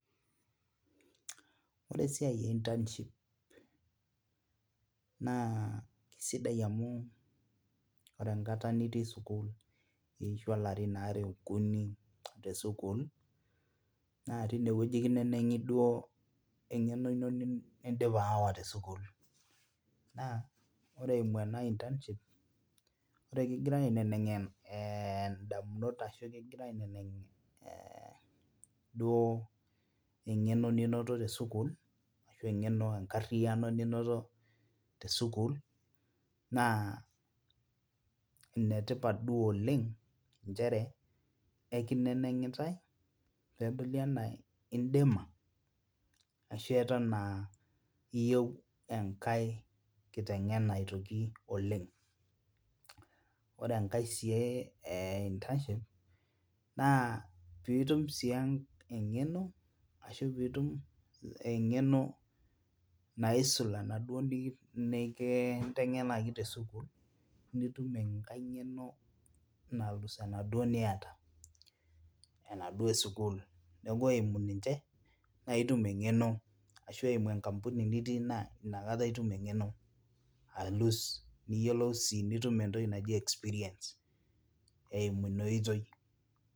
Ore esiai e internship naa kisidai amu, ore enkata nitii sukuul iishua ilarin aare okuni te sukuul, naa tine wueji kineneng'i eninko edipa sawa te sukuul, naa ore ing'ua ena internship ore kigirae aineneng' idamunot ashu kigirae aineneng',ajo eng'eno ninoto te sukuul, enkariyiano, ninoto, te sukuul naa ene tipat duo oleng nchere ekinenengitae, pee edoli anaa idima, ashu Eton aa iyieu enkae kitengenanaitoki oleng ore enkae sii e internship piitum sii eng'eno, ashu pooki toki, eng'eno naisul, aashu te sukuul, nitum eng'eno eimu ninche ashu eimu enkampuni, nitii naa inakata itum engeno alus, nitum entoki naji experience eimu Ina oitoi